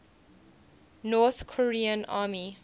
north korean army